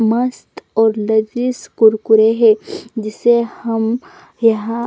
मस्त और लजीज कुरकुरे है जिसे हम यहाँ--